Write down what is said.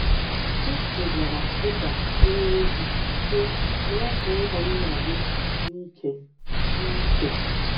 Kristi gwara Pita onyeozi, sị: “ Mee ka ụmụnna gị dị ike.” dị ike.”